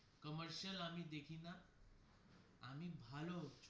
Commercial আমি দেখি না আমি ভালো.